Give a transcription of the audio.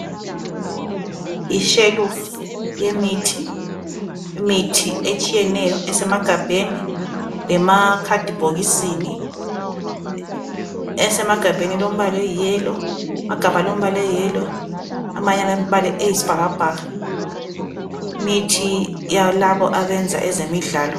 Ishelufu yemithi etshiyeneyo esemagabheni lasemabhokisini. Esemagabheni ilombala olithanga loyisibhakabhaka. Limithi ngeyabayenza ezemidlalo.